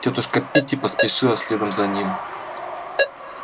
тётушка питти поспешила следом за ним